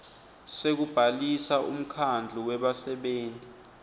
sekubhalisa umkhandlu webasebenti